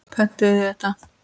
Pöntuðu þið þetta?